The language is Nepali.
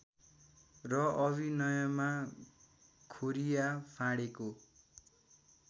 र अभिनयमा खोरिया फाँडेको